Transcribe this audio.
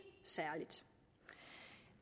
særligt